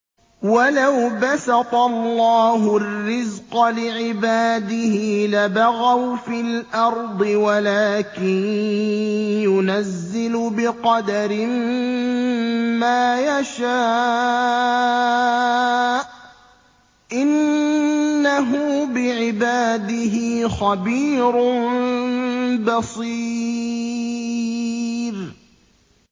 ۞ وَلَوْ بَسَطَ اللَّهُ الرِّزْقَ لِعِبَادِهِ لَبَغَوْا فِي الْأَرْضِ وَلَٰكِن يُنَزِّلُ بِقَدَرٍ مَّا يَشَاءُ ۚ إِنَّهُ بِعِبَادِهِ خَبِيرٌ بَصِيرٌ